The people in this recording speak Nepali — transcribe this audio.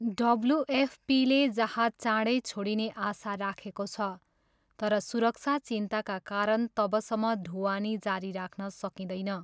डब्ल्युएफपीले जहाज चाँडै छोडिने आशा राखेको छ, तर सुरक्षा चिन्ताका कारण तबसम्म ढुवानी जारी राख्न सकिँदैन।